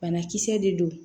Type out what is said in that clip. Banakisɛ de don